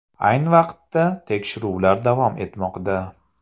Ayni vaqtda tekshiruvlar davom etmoqda.